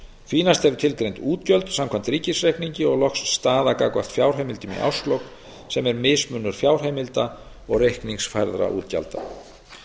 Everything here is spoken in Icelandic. því næst eru tilgreind útgjöld samkvæmt ríkisreikningi og loks staða gagnvart fjárheimildum í árslok sem er mismunur fjárheimilda og reikningsfærðra útgjalda